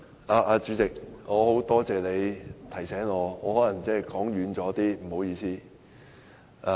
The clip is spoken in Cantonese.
代理主席，多謝你提醒我，我可能離題了，不好意思。